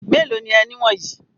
Mélòó ni ẹni wọ̀nyí?